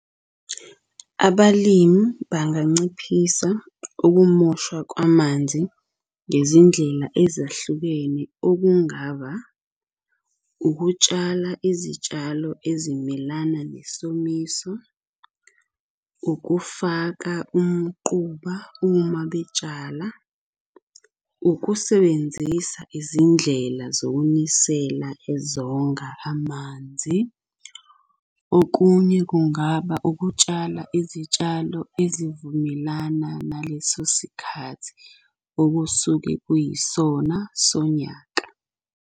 Abalimi banganciphisa ukumoshwa kwamanzi ngezindlela ezahlukene okungaba, ukutshala izitshalo ezimelana nesomiso, ukufaka umquba uma betshala, ukusebenzisa izindlela zokunisela ezonga amanzi. Okunye kungaba ukutshala izitshalo ezivumelana naleso sikhathi okusuke kuyisona sonyaka.